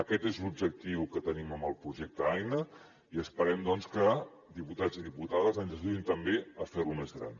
aquest és l’objectiu que tenim amb el projecte aina i esperem doncs que diputats i diputades ens ajudin també a fer lo més gran